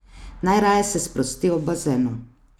Najraje se sprosti ob bazenu.